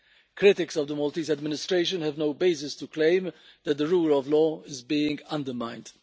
Critics of the Maltese administration have no basis to claim that the rule of law is being undermined.